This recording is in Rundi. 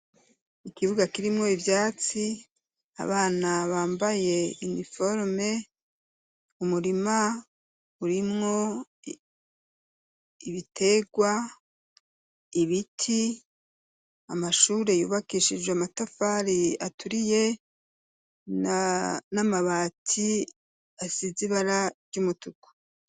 Ikibuga kirimwo ivyatsi, abana bambaye iniforome, umurima urimwo ibitegwa, ibiti, amashuri yubakishijwe amatafari aturiye n'amabati asize ibara ry'umutuku.